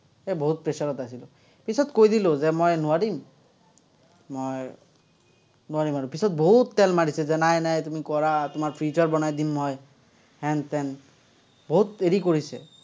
এৰ বহুত pressure ত আছিলো। পিছত কৈ দিলো যে মই নোৱাৰিম, মই নোৱাৰিম আৰু। পিচত বহুত তেল মাৰিছে, যে নাই নাই তুমি কৰা, তোমাৰ future বনাই দিম মই, হেন-তেন, বহুত হেৰি কৰিছে।